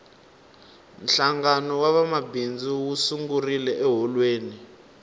hlangano wa vamabindzu wu sungurile eholweni